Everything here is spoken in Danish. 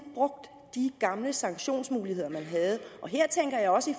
brugt de gamle sanktionsmuligheder man havde her tænker jeg også